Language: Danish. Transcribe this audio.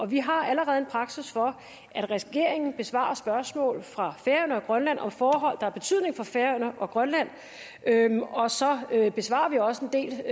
vi har allerede en praksis for at regeringen besvarer spørgsmål fra færøerne og grønland om forhold der har betydning for færøerne og grønland og så besvarer vi også en del